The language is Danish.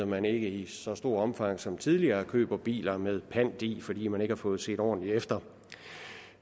man ikke i så stort omfang som tidligere køber biler med pant i fordi man ikke har fået set ordentligt efter